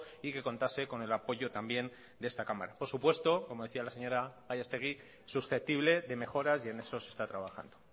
y que contase con el apoyo también de esta cámara por supuesto como decía la señora gallastegui susceptible de mejoras y en eso se está trabajando